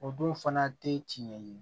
O don fana tɛ tiɲɛ ye